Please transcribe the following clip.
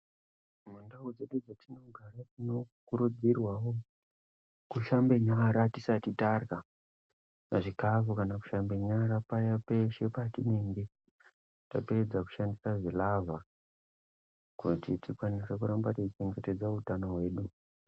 Mundawu dzedu dzatinogare tinokurudzorwawo kushambe nyara tisati tadya zvikafu kana kushambe nyara peshee patinenge tapedza kushandisa zvilavha kuitire kuti tirambe tichichengetedza utano wedu.